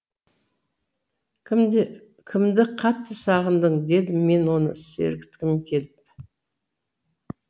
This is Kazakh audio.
кімді қатты сағындың дедім мен оны сергіткім келіп